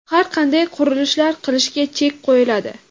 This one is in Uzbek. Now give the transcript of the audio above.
har qanday qurilishlar qilishga chek qo‘yiladi.